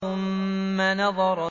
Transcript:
ثُمَّ نَظَرَ